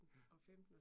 Ja